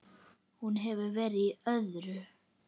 Hún hefur verið í öðru.